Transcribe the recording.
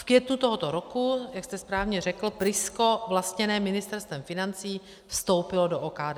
V květnu tohoto roku, jak jste správně řekl, Prisko vlastněné Ministerstvem financí vstoupilo do OKD.